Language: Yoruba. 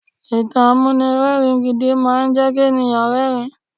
Ìtàn amúnirẹ́ẹ̀rin gidi máama jẹ́ kí èèyàn rẹ́rin.